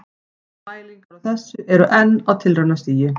Mælingar á þessu eru á tilraunastigi.